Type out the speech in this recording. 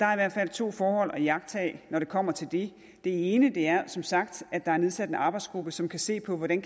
to forhold at iagttage når det kommer til det det ene er som sagt at der er nedsat en arbejdsgruppe som kan se på hvordan